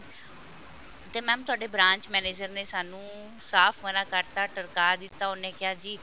ਤੇ mam ਤੁਹਾਡੇ branch manager ਨੇ ਸਾਨੂੰ ਸਾਫ਼ ਮਨਾ ਕਰਤਾ ਟਰਕਾ ਦਿੱਤਾ ਉਹਨੇ ਕਿਹਾ ਜੀ